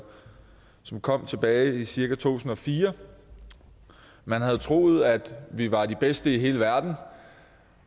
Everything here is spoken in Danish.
som kom tilbage i cirka to tusind og fire man havde troet at vi var de bedste i hele verden